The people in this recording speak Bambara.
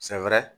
Siɲɛ wɛrɛ